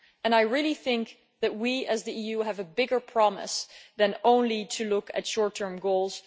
I really think that we, the EU, have a bigger promise than only to look at short term goals.